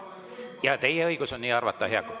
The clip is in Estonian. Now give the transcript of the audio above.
Jaa, teil on õigus nii arvata.